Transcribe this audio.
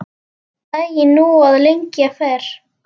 Daginn nú að lengja fer.